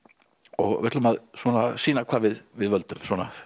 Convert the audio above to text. og við ætlum að sýna hvað við við völdum